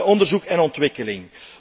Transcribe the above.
Onderzoek en ontwikkeling.